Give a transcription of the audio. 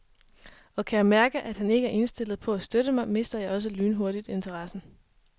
Og kan jeg mærke, at han ikke er indstillet på at støtte mig, mister jeg også lynhurtigt interessen.